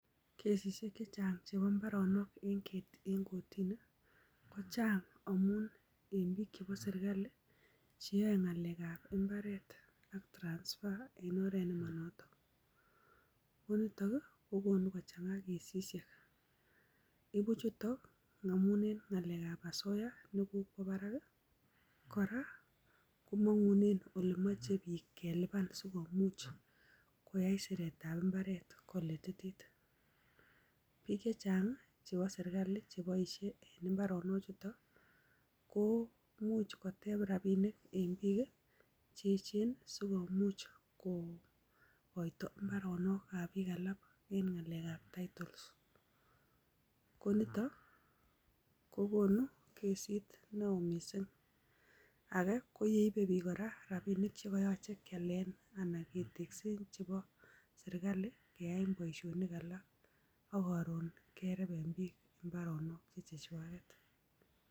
Kesishek che chang chebo mbaronok en kortini, kochang amun en biik chebo serkali cheyoe ng'alek ab mbaret ak transfer en oret nemanoton. Ko nitok kokonu kochang'a kesishek. Ibu chuto ng'alek ab osoya nekokwo barak. Kora komongunen ole moche biik kelipan sikomuch koyai siret ab mbaret kolititit. Biik chechang chebo serkalit cheboisie en mbarenik chutet ko imuch koteb rabinik en biik cheechen sikomuch kokoito mbaronokab biik alak en ng'alek ab title ko nitokogonu kesit neo mising. Age ko yeibe biiiik kora rabinik che koyoche kealen anna keteksen che kobo serklait keyaen booisionik alak ak koron kereben biik mbaronok che chwaget